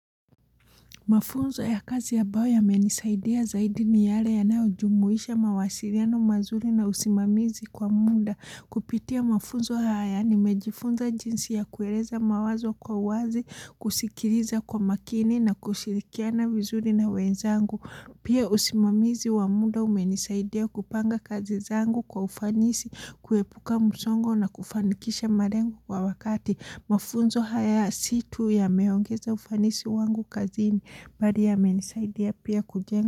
Mafunzo ya kazi ya ambayo yamenisaidia zaidi ni yale ya naujumuisha mawasiliano mazuri na usimamizi kwa muda. Kupitia mafunzo haya ni mejifunza jinsi ya kueleza mawazo kwa wazi, kusikiriza kwa makini na kushirikiana vizuri na wenzangu. Pia usimamizi wa muda umenisaidia kupanga kazi zangu kwa ufanisi, kuepuka msongo na kufanikisha malengo kwa wakati. Mafunzo haya situ yameongeza ufanisi wangu kazini bali yamenisaidia pia kujenga.